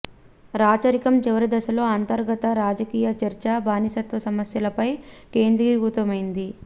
రాచరికం చివరి దశలో అంతర్గత రాజకీయ చర్చ బానిసత్వ సమస్యపై కేంద్రీకృతమైంది